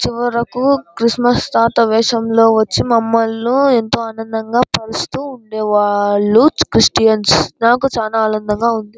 చివరకు క్రిస్మస్ తాత వేషంలో వచ్చి మమ్మల్ను ఎంతో ఆనందంగా పలకరిస్తూ ఉండేవాళ్లు క్రిస్టియన్స్ నాకు చానా ఆనందంగా ఉంది --